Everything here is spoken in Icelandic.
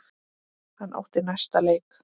Hann átti næsta leik.